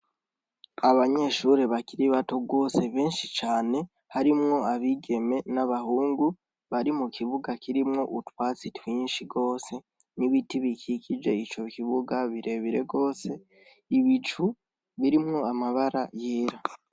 Abanyeshure bakiri bato benshi cane harimwo abigeme n' abahungu bari mukibuga kirimwo utwatsi twinshi gose n' ibiti bikikuje ico kibuga ibicu birimwo amabara yera.